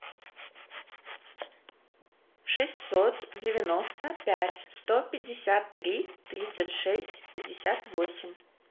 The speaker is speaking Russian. шестьсот девяносто пять сто пятьдесят три тридцать шесть пятьдесят восемь